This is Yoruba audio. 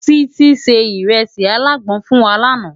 Titi sé irèsi àlágbòn fún wá làná